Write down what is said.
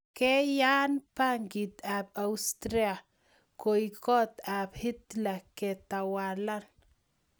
Keyan bungiet ab austria koek kot ab hitler ketawalan